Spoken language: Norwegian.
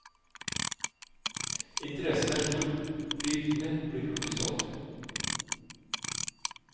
Interessen er stor, bildene blir hurtig solgt.